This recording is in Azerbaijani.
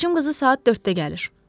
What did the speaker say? Bacım qızı saat 4-də gəlir.